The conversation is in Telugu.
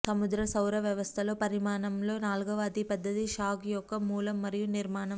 సముద్ర సౌర వ్యవస్థలో పరిమాణంలో నాల్గవ అతిపెద్దది షాక్ యొక్క మూలం మరియు నిర్మాణం